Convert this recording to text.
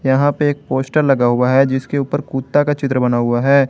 यहां पे एक पोस्टर लगा हुआ है जिसके ऊपर कुत्ता का चित्र बना हुआ है।